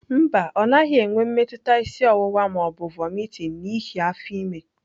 Mba, ọ naghị enwe mmetụta isi ọwụwa ma ọ bụ vomiting n'ihi afọ ime.